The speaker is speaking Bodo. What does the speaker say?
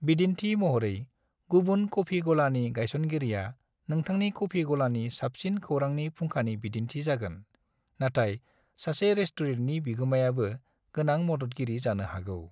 बिदिन्थि महरै, गुबुन कफि गलानि गायसनगिरिया नोथांनि कफि गलानि साबसिन खौरांनि फुंखानि बिदिन्थि जागोन, नाथाय सासे रेस्टुरेन्टनि बिगोमायाबो गोनां मददगिरि जानो हागौ।